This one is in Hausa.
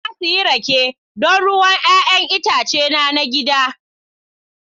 Na sayi rake, don ruwan 'ya'yan itace na gida